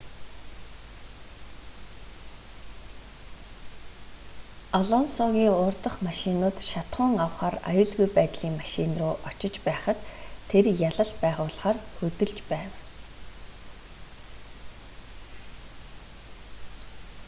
алонсогийн урдах машинууд шатахуун авахаар аюулгүй байдлын машин руу очиж байхад тэр ялалт байгуулахаар хөдөлж байв